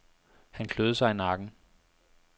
Han kløede sig i nakken.